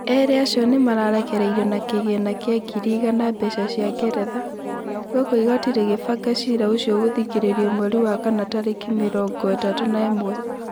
Erĩ acio nĩmararekereirio na kĩgĩna kia ngiri igana mbeca cia Nigeria, gũkũ igoti rĩgĩbanga cira ũcio gũthikĩrĩrio mweri wa kana tarĩki mĩrongo ĩtatũ na imwe